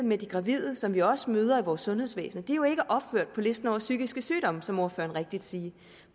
med de gravide som vi også møder i vores sundhedsvæsen graviditet er jo ikke opført på listen over psykiske sygdomme som ordføreren rigtigt siger